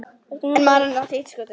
En maðurinn átti eitt skot eftir.